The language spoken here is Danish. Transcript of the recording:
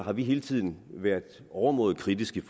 har vi hele tiden været overmåde kritiske